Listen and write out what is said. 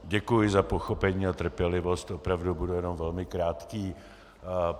Děkuji za pochopení a trpělivost, opravdu budu jenom velmi krátký.